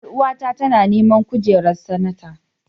Ƴaruwa ta tana neman kujerar sanata.